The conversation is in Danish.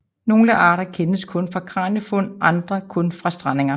Nogle arter kendes kun fra kraniefund og andre kun fra strandinger